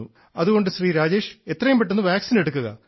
അതുകൊണ്ട് ശ്രീ രാജേഷ് എത്രയും പെട്ടെന്ന് വാക്സിൻ എടുക്കുക